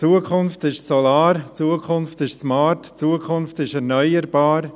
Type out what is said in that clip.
Die Zukunft ist solar, die Zukunft ist smart, die Zukunft ist erneuerbar.